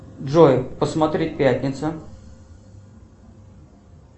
джой посмотри пятница